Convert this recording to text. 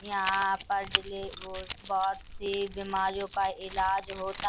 यहाँ पर डेली रोज बहुत-सी बीमारियों का इलाज होता --